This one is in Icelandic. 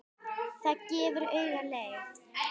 Það gefur auga leið